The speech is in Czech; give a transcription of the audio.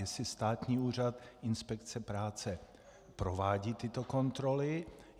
Jestli Státní úřad inspekce práce provádí tyto kontroly.